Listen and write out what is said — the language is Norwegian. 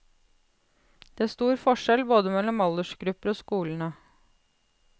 Det er stor forskjell både mellom aldersgrupper og skolene.